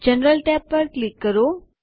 general tab પર click કરો